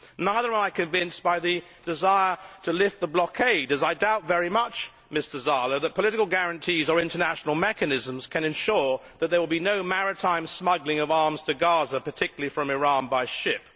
Nor am I convinced by the desire to lift the blockade, as I doubt very much, Mr Zala, that political guarantees or international mechanisms can ensure that there will be no maritime smuggling of arms to Gaza, particularly from Iran by ship.